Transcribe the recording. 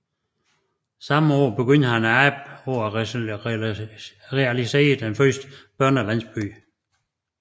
Samme år begyndte han arbejdet på at realisere den første børnelandsby